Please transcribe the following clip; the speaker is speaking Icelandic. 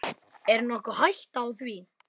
Er nokkur hætta á því?